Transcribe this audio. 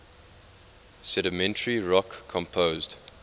sedimentary rock composed